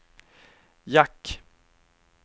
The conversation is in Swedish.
jack